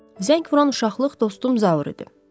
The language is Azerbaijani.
Zəng vuran uşaqlıq dostum Zaur idi.